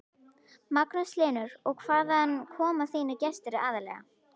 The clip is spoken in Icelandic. Magnús Hlynur: Og hvaðan koma þínir gestir aðallega?